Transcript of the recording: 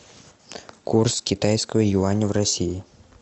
курс китайского юаня в россии